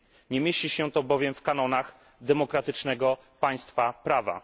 Nie mieści się to bowiem w kanonach demokratycznego państwa prawa.